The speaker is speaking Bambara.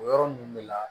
O yɔrɔ ninnu de la